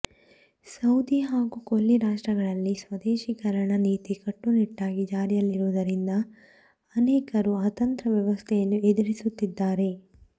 Saudi ಹಾಗೂ ಕೊಲ್ಲಿ ರಾಷ್ಟ್ರಗಳಲ್ಲಿ ಸ್ವದೇಶೀಕರಣ ನೀತಿ ಕಟ್ಟು ನಿಟ್ಟಾಗಿ ಜಾರಿಯಲ್ಲಿರುವುದರಿಂದ ಅನೇಕರು ಅತಂತ್ರ ವ್ಯವಸ್ಥೆಯನ್ನು ಎದುರಿಸುತ್ತಿದ್ದಾರೆ